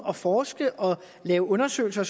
at forske og lave undersøgelser